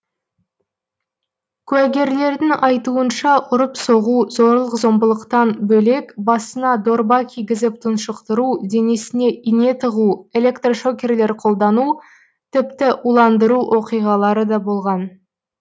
куәгерлердің айтуынша ұрып соғу зорлық зомбылықтан бөлек басына дорба кигізіп тұншықтыру денесіне ине тығу электрошокерлер қолдану тіпті уландыру оқиғалары да болған